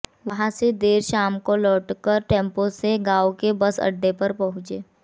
वहां से देर शाम को लौटकर टेंपो से गांव के बस अड्डे पर पहुंचे